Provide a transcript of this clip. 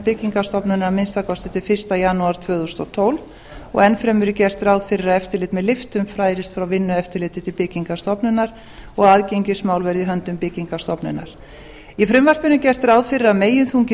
byggingarstofnunar að minnsta kosti til fyrsta janúar tvö þúsund og tólf og enn fremur er gert ráð fyrir að eftirlit með lyftum færist frá vinnueftirliti til byggingarstofnunar og aðgengismál verði í höndum byggingarstofnunar í frumvarpinu er gert ráð fyrir að meginþungi